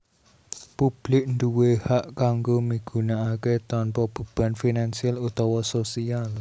Publik nduwé hak kanggo migunakaké tanpa beban finansial utawa sosial